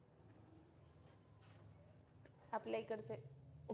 आपल्या इकडचे